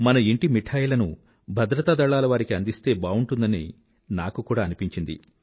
మన ఇంటి మిఠాయిలను భద్రతా దళాలవారికి అందిస్తే బావుంటుందని నాకు కూడా అనిపించింది